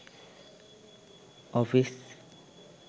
office